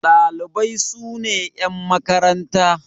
Ɗalibai sune yan makaranta.